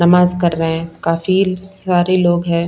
नमाज कर रहे हैं काफी सारे लोग हैं।